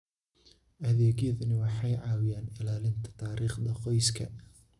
Adeegyadani waxay caawiyaan ilaalinta taariikhda qoyska.